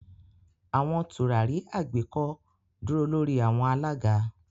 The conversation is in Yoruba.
Awọn turari agbeko duro lori awọn alaga.